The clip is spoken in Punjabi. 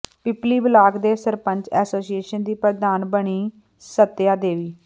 ਪਿੱਪਲੀ ਬਲਾਕ ਦੇ ਸਰਪੰਚ ਐਸੋਸੀਏਸ਼ਨ ਦੀ ਪ੍ਰਧਾਨ ਬਣੀ ਸੱਤਿਆ ਦੇਵੀ